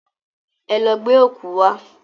Ẹ lọ gbẹ́ ọ̀kú wá!